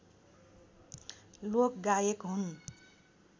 लोकगायक हुन्